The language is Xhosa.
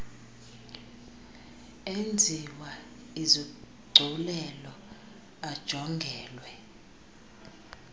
enziwa izigculelo ajongelwe